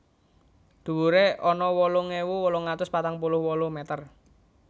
Dhuwuré ana wolung ewu wolung atus patang puluh wolu meter